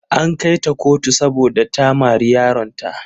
An kai ta kotu saboda ta mari yaronta.